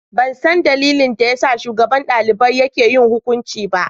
Ban san dalilin da ya sa shugaban dalibai yake yin hukunci ba.